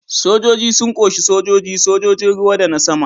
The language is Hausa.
Sojoji sun ƙunshi sojoji, sojojin ruwa da na sama.